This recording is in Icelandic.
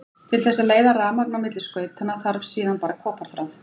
Til þess að leiða rafmagn á milli skautanna þarf síðan bara koparþráð.